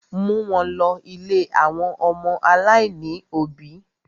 Mú wọn lọ̀ ilé àwọn ọmọ aláìní òbí!